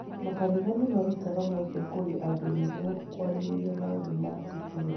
Makanitha nĩ ũmarutaga mweke kũrĩ andũ nĩguo kwarĩrĩria maũndũ ma itũũra.